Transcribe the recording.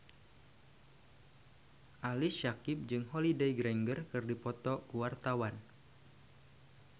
Ali Syakieb jeung Holliday Grainger keur dipoto ku wartawan